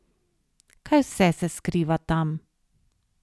Kaj vse se skriva tam?